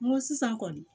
N ko sisan kɔni